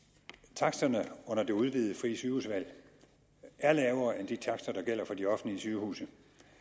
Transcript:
taksterne under det udvidede frie sygehusvalg er lavere end de takster der gælder for de offentlige sygehuse